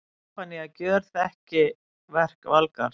Stefanía gjörþekki verk Valgarðs.